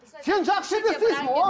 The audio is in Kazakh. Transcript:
сен жақсы жерде істейсің о